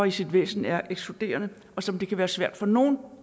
i sit væsen er ekskluderende og som det kan være svært for nogle